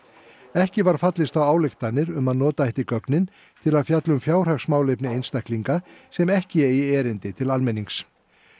ekki var fallist á ályktanir um að nota ætti gögnin til að fjalla um fjárhagsmálefni einstaklinga sem ekki eigi erindi til almennings